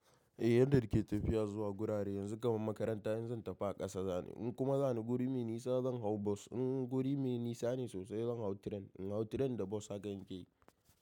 Eh yadda kike tafiya zuwa gurare yanzu kamar makaranta in zan tafi a ƙasa za ni in kuma za ni guri mai nisa zan hau bus in guri mai nisa ne sosai zan hau train in hau train da bus haka nike yi.